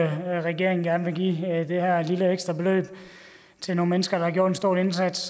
regeringen gerne vil give det her lille ekstra beløb til nogle mennesker der har gjort en stor indsats